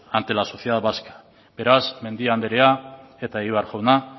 ante la sociedad vasca beraz mendia anderea eta egibar jauna